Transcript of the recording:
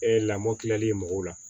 lamɔ kilali mɔgɔw la